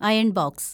iron‍ box